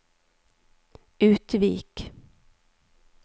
Utvik